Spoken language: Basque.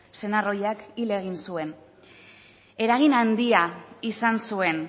senar ohiak hil egin zuen eragin handia izan zuen